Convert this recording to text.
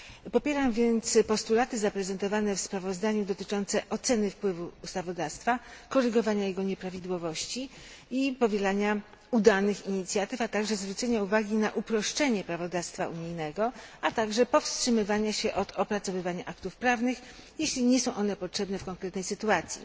Popieram więc postulaty zaprezentowane w sprawozdaniu, dotyczące oceny wpływu ustawodawstwa, korygowania jego nieprawidłowości i powielania udanych inicjatyw, a także zwrócenia uwagi na uproszczenie prawodawstwa unijnego, a także powstrzymywania się od opracowywania aktów prawnych, jeśli nie są one potrzebne w konkretnej sytuacji.